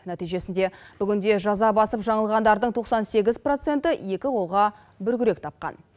нәтижесінде бүгінде жаза басып жаңылғандардың тоқсан сегіз проценті екі қолға бір күрек тапқан